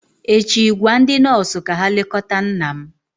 echi gwa ndị nọọsụ ka ha lekọta nna m!